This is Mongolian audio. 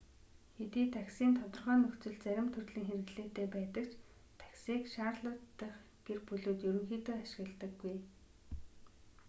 хэдий такси нь тодорхой нөхцөлд зарим төрлийн хэрэглээтэй байдаг ч таксиг шарлотт дахь гэр бүлүүд ерөнхийдөө ашигладаггүй